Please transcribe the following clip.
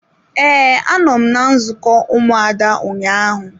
Ee, a nọ m na nzukọ ụmụada ụnyaahụ.